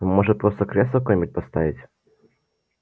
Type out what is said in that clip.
может просто кресло какое-нибудь поставить